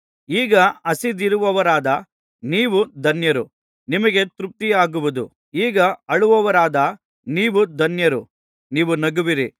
ಈಗ ಹಸಿದಿರುವವರಾದ ನೀವು ಧನ್ಯರು ನಿಮಗೆ ತೃಪ್ತಿಯಾಗುವುದು ಈಗ ಅಳುವವರಾದ ನೀವು ಧನ್ಯರು ನೀವು ನಗುವಿರಿ